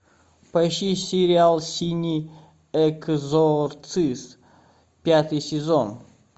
поищи сериал синий экзорцист пятый сезон